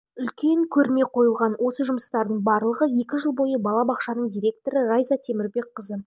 бойынша үлкен көрме қойылған осы жұмыстардың барлығы екі жыл бойы бала бақшаның директоры райза темірбекқызы